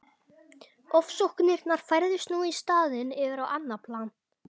Ofsóknirnar færðust nú í staðinn yfir á annað plan.